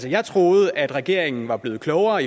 jeg troede at regeringen var blevet klogere